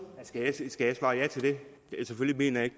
skal